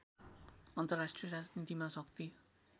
अन्तर्राष्ट्रिय राजनीतिमा शक्ति